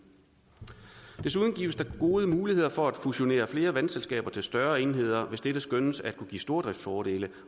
desuden gives der gode muligheder for at fusionere flere vandselskaber til større enheder hvis dette skønnes at kunne give stordriftsfordele